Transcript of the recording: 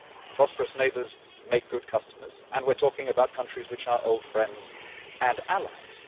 Prosperous neighbours make good customers, and we are talking about countries which are old friends and allies.